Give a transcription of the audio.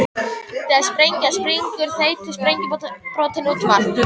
Þegar sprengjan springur þeytast sprengjubrotin út um allt.